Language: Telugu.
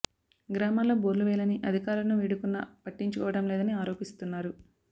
గ్రామాల్లో బోర్లు వేయాలని అధికారులను వేడుకున్న పట్టించు కోవడం లేదని ఆరోపిస్తున్నారు